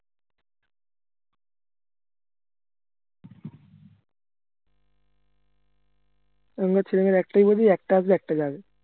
এখনকার ছেলে মেয়েরা একটাই বোঝে একটা আসবে একটা যাবে